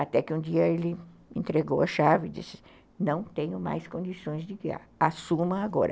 Até que um dia ele entregou a chave e disse, não tenho mais condições de guiar, assuma agora.